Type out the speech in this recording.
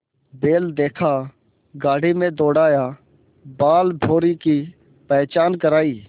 बैल देखा गाड़ी में दौड़ाया बालभौंरी की पहचान करायी